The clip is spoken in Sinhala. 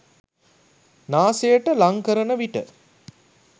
නාසයට ලං කරන විට